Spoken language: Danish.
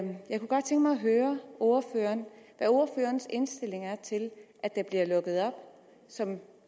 høre ordføreren hvad ordførerens indstilling er til at der bliver lukket op som